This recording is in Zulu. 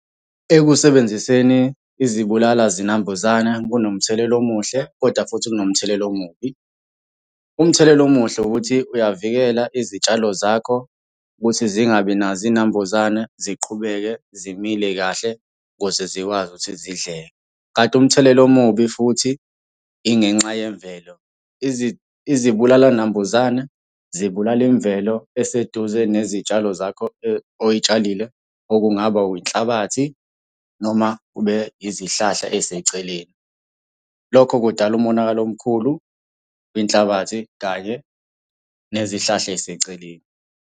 Ekusebenziseni izibulala zinambuzana kunomthelela omuhle, koda futhi kunomthelela omubi. Umthelela omuhle ukuthi uyavikela izitshalo zakho ukuthi zingabi nazo iy'nambuzane ziqhubeke zimile kahle ukuze zikwazi ukuthi zidleke, kanti umthelela omubi futhi ingenxa yemvelo. Izibulalanambuzane, zibulala imvelo eseduze nezitshalo zakho oy'tshalile, okungaba yinhlabathi, noma kube izihlahla ey'seceleni. Lokho kudala umonakalo omkhulu, inhlabathi kanye nezihlahla ey'seceleni.